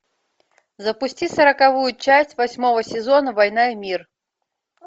запусти сороковую часть восьмого сезона война и мир